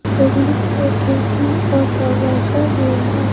गली में खिड़की और दरवाजा भी है।